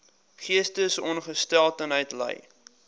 geestesongesteldheid ly